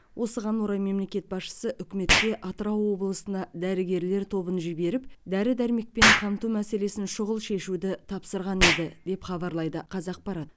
осыған орай мемлекет басшысы үкіметке атырау облысына дәрігерлер тобын жіберіп дәрі дәрмекпен қамту мәселесін шұғыл шешуді тапсырған еді деп хабарлайды қазақпарат